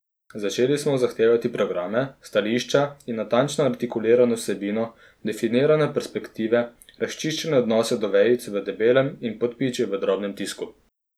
Začeli smo zahtevati programe, stališča, natančno artikulirano vsebino, definirane perspektive, razčiščene odnose do vejic v debelem in podpičij v drobnem tisku.